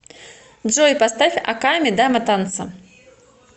джой поставь оками дама танца